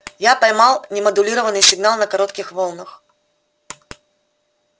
я поймал немодулированный сигнал на коротких волнах